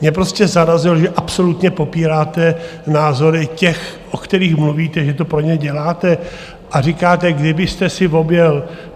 Mě prostě zarazilo, že absolutně popíráte názory těch, o kterých mluvíte, že to pro ně děláte, a říkáte, kdybyste si objel...